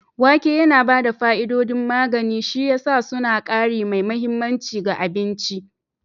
Wake yana ba da fa'idodin magani, shi ya sa suna ƙari mai mahimmanci ga abinci